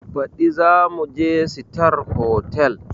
Baɗi zamuje sitar hotal